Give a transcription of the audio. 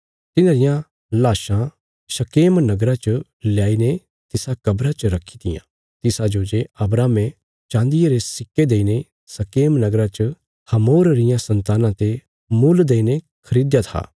तिन्हांरियां लाशां शकेम नगरा च ल्याईने तिसा कब्रा च रखी तियां तिसाजो जे अब्राहमे चाँदिये रे सिक्के देईने शकेम नगरा च हमोर रियां सन्तानां ते मुल देईने खरीदया था